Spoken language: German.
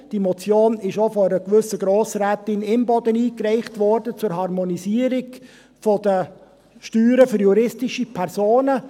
Diese Motion zur Harmonisierung der Steuern für juristische Personen wurde auch von einer gewissen Grossrätin Imboden eingereicht.